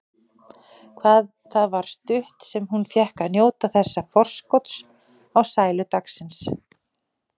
Hvað það var stutt sem hún fékk að njóta þessa forskots á sælu dagsins.